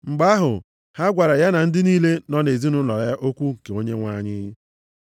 Mgbe ahụ, ha gwara ya na ndị niile nọ nʼezinaụlọ ya okwu nke Onyenwe anyị.